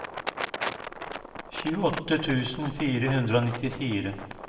tjueåtte tusen fire hundre og nittifire